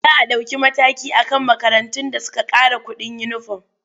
Za a ɗauki mataki a kan makarantun da suka ƙara kuɗin uniform.